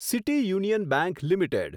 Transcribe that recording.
city union bank limited